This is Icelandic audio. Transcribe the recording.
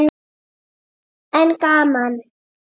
En gaman!